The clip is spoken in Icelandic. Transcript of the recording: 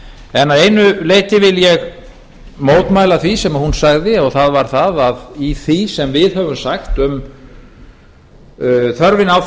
en að einu leyti vil ég mótmæla því sem hún sagði og það var að í því sem við höfum sagt um þörfina á